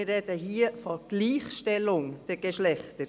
Wir sprechen hier von Gleichstellung der Geschlechter.